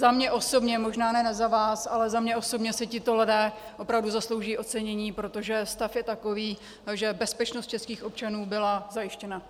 Za mě osobně, možná ne za vás, ale za mě osobně si tito lidé opravdu zaslouží ocenění, protože stav je takový, že bezpečnost českých občanů byla zajištěna.